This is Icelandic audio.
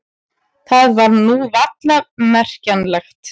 Það var nú varla merkjanlegt.